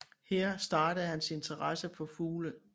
Her startede hans interesse for fugle